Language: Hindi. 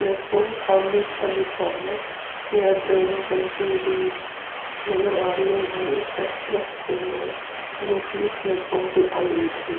प्लेटफार्म खाली-खाली सा है। यह ट्रैन चलती हुई नजर आ रही है। ये एक एक्सप्रेस ट्रैन है जो कि इस प्लेटफार्म पे आयी हुई थी।